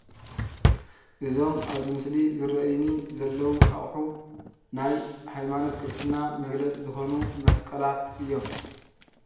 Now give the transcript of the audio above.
እዞም ኣብዚ ምስሊ ዝረኣዩኒ ዘለዉ ኣቑሑ ናይ ሃይማኖት ክርስትና መግለፂ ዝኾኑ መስቀላት እዮም፡፡